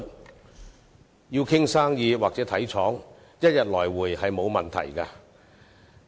如要談生意或視察廠房，即日來回並無問題。